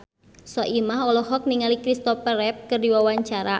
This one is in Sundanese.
Soimah olohok ningali Christopher Reeve keur diwawancara